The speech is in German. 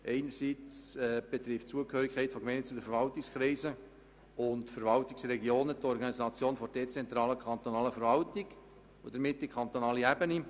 Einerseits betrifft die Zugehörigkeit von Gemeinden zu den Verwaltungskreisen und Verwaltungsregionen die Organisation der dezentralen kantonalen Verwaltung, somit also die kantonale Ebene.